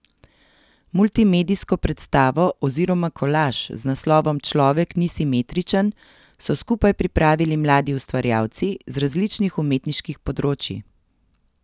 Multimedijsko predstavo oziroma kolaž z naslovom Človek ni simetričen so skupaj pripravili mladi ustvarjalci z različnih umetniških področij.